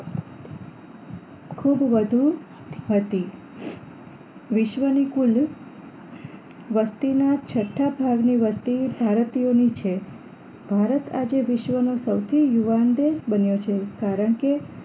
ખૂબ વધુ હતી વિશ્વની કુલ વસ્તીના છઠ્ઠા ભાગની વસ્તી ભારતીયોની છે ભારત આજે વિશ્વનો સૌથી યુવાન દેશ બન્યો છે કારણ કે